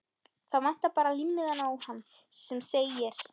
Það vantar bara límmiðann á hann sem segir